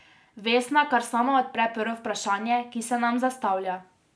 Vesna kar sama odpre prvo vprašanje, ki se nam zastavlja.